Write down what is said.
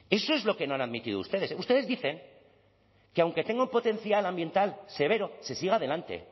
eso es lo que no han admitido ustedes ustedes dicen que aunque tenga un potencial ambiental severo se siga adelante